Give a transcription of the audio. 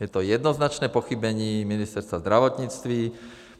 Je to jednoznačné pochybení Ministerstva zdravotnictví.